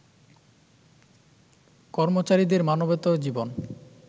কর্মচারীদের মানবেতর জীবন